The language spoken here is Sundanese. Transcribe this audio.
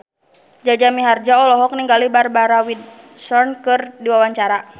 Jaja Mihardja olohok ningali Barbara Windsor keur diwawancara